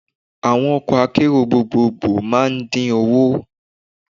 Àwọn ọkọ̀ akérò gbogboogbo máa ń dín owó